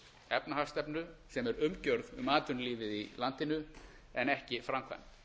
efnahagsstefnu sem er umgjörð um atvinnulífið í landinu en ekki framkvæmt